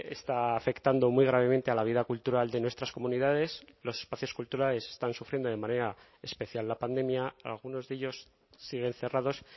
está afectando muy gravemente a la vida cultural de nuestras comunidades los espacios culturales están sufriendo de manera especial la pandemia algunos de ellos siguen cerrados